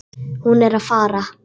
Hún er að fara.